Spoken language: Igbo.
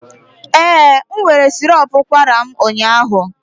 Ee, m were sirop ụkwara m ụnyaahụ.